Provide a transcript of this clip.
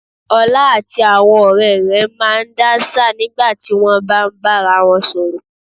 Ọlá àti àwọn ọ̀rẹ́ rẹ̀ máa ń dáṣà nígbà tí wọ́n bá ń bá ara wọn sọ̀rọ̀